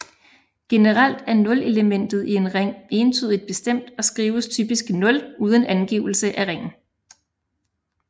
Generelt er nulelementet i en ring entydigt bestemt og skrives typisk 0 uden angivelse af ringen